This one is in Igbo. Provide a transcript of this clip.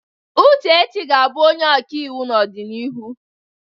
Uchechi ga-abụ onye ọkaiwu n'ọdịnihu.